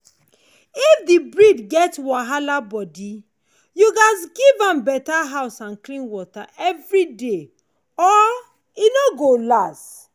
if the breed get wahala body you gats give am better house and clean water every day or e no go last.